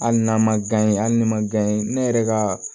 Hali n'a ma hali ni ma ne yɛrɛ ka